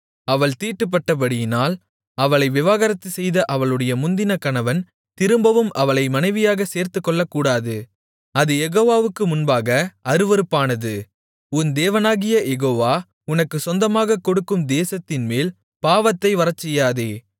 அவள் தீட்டுப்பட்டபடியினால் அவளை விவாகரத்து செய்த அவளுடைய முந்தின கணவன் திரும்பவும் அவளை மனைவியாகச் சேர்த்துக்கொள்ளக்கூடாது அது யெகோவாவுக்கு முன்பாக அருவருப்பானது உன் தேவனாகிய யெகோவா உனக்குச் சொந்தமாகக் கொடுக்கும் தேசத்தின்மேல் பாவத்தை வரச்செய்யாதே